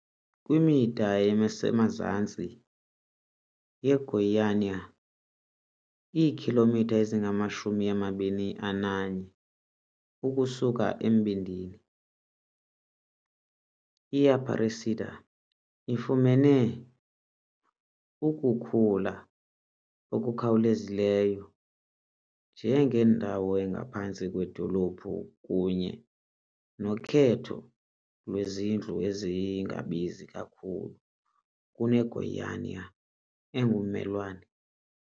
kwimida esemazantsi yeGoiânia, iikhilomitha ezingama-21 ukusuka embindini, i-Aparecida ifumene ukukhula okukhawulezayo njengendawo engaphantsi kwedolophu kunye nokhetho lwezindlu ezingabizi kakhulu kuneGoiânia engummelwane.